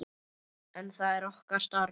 En það er okkar starf.